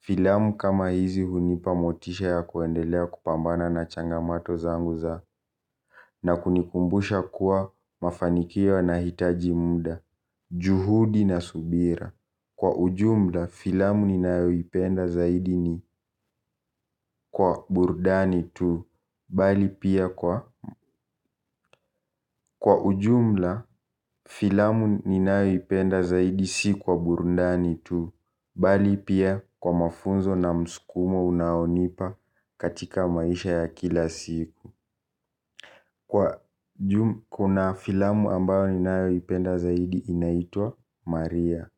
Filamu kama hizi hunipa motisha ya kuendelea kupambana na changamato zangu za na kunikumbusha kuwa mafanikio yanahitaji muda. Juhudi na subira kwa ujumla filamu ninayo ipenda zaidi ni kwa burundani tu bali pia kwa, kwa ujumla filamu ni nayo ipenda zaidi si kwa burundani tu bali pia kwa mafunzo na msukumo unaonipa katika maisha ya kula siku. Kuna filamu ninayo ipenda zaidi inaitwa Maria.